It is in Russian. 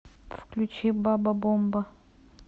включи баба бомба